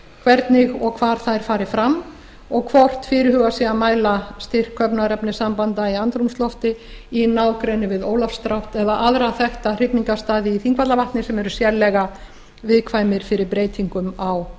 hvernig og hvar þær fari fram og hvort fyrirhugað sé að mæla styrk köfnunarefnissambanda í andrúmslofti í nágrenni við ólafsdrátt eða aðra þekkta hrygningarstaði í þingvallavatni sem eru sérlega viðkvæmir fyrir breytingum á